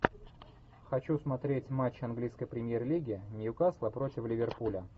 хочу смотреть матч английской премьер лиги ньюкасла против ливерпуля